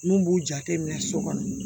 N'u b'u jate minɛ so kɔnɔ